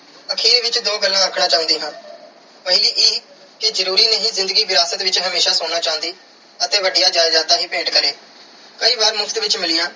ਆਖਿਰ ਵਿੱਚ ਦੋ ਗੱਲਾਂ ਆਖਣਾ ਚਾਹੁੰਦੀ ਹਾਂ ਪਹਿਲੀ ਇਹ ਕਿ ਜ਼ਰੂਰੀ ਨਹੀਂ ਕਿ ਜ਼ਿੰਦਗੀ ਵਿਰਾਸਤ ਵਿੱਚ ਹਮੇਸ਼ਾ ਸੋਨਾ ਚਾਂਦੀ ਅਤੇ ਵੱਡੀਆਂ ਜਾਇਦਾਦਾਂ ਹੀ ਭੇਟ ਕਰੇ। ਕਈ ਵਾਰ ਮੁਫ਼ਤ ਵਿੱਚ ਮਿਲੀਆਂ